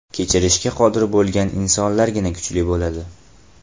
Kechirishga qodir bo‘lgan insonlargina kuchli bo‘ladi.